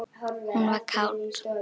Hún var kát.